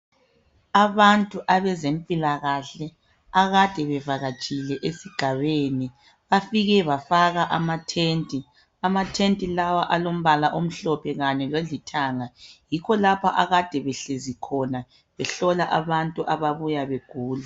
Abantu abezempilakahle akade bevakatshile esigabeni bafike bafaka amatende. Amatende lawa alombala omhlophe lanye lolithanga, yikho lapho akade behlezi khona behlola abantu ababuya begula.